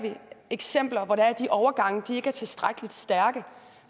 eksempler på at de overgange ikke er tilstrækkelig stærke